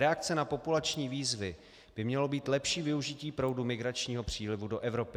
"Reakce na populační výzvy by mělo být lepší využití proudu migračního přílivu do Evropy."